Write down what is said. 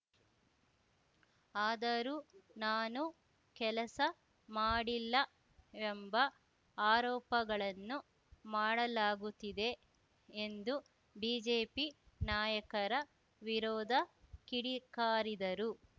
ಆದರೂ ನಾನು ಕೆಲಸ ಮಾಡಿಲ್ಲ ಎಂಬ ಆರೋಪಗಳನ್ನು ಮಾಡಲಾಗುತ್ತಿದೆ ಎಂದು ಬಿಜೆಪಿ ನಾಯಕರ ವಿರೋದ ಕಿಡಿಕಾರಿದರು